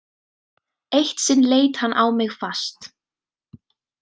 Eitt sinn leit hann á mig fast.